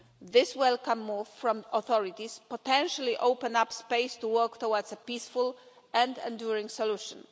This welcome move from the authorities potentially opens up space to work towards a peaceful and enduring solution.